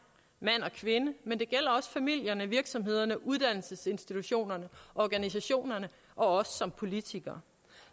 mand og kvinde men det gælder også familierne virksomhederne uddannelsesinstitutionerne og organisationerne og som politikere